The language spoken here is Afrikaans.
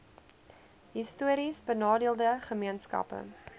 histories benadeelde gemeenskappe